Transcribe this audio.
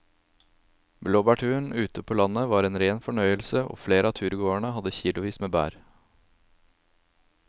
Blåbærturen ute på landet var en rein fornøyelse og flere av turgåerene hadde kilosvis med bær.